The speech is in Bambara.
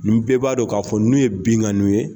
Ni bɛɛ b'a dɔn k'a fɔ ninnu ye binkaniw ye.